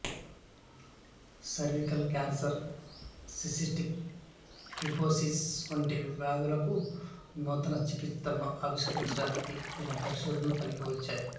cervical cancer cystic fibrosis వంటి వ్యాధులకు నూతన చికిత్సలను ఆవిష్కరించడానికి ఈయన పరిశోధనలు పనికొచ్చాయి